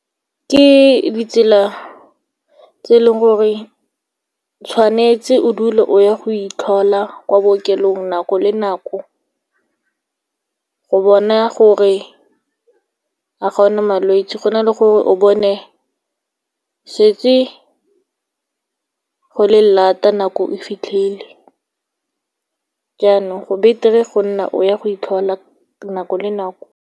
Ke ditsela tse leng gore tshwanetse o dule o ya go itlhola kwa bookelong, nako le nako, go bona gore a ga o na malwetse, go na le gore o bone setse go le laat-a, nako e fitlhile. Jaanong, go beter-e go nna o ya go itlhola nako le nako.